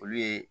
Olu ye